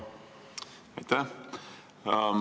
Aitäh!